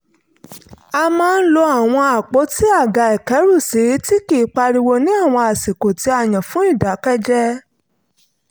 a máa ń lo àwọn àpótí àga ìkẹ́rùsí tí kì í pariwo ní àwọn àsìkò tí a yàn fún ìdákẹ́jẹ́ẹ́